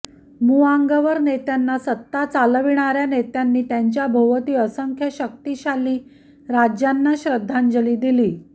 मुआंगवर नेत्यांवर सत्ता चालविणार्या नेत्यांनी त्यांच्या भोवती असंख्य शक्तिशाली राज्यांना श्रद्धांजली दिली